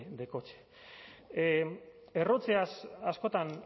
de coche errotzeaz askotan